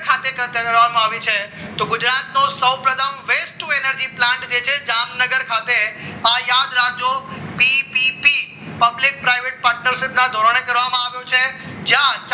ખાતે કરવામાં આવી છે તો ગુજરાતનો સૌપ્રથમ west winner energy plant જે છે જામનગર ખાતે આ યાદ રાખજો પીપીપી public private ધોરણે કરવામાં આવ્યો છે જ્યાં